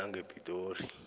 langepitori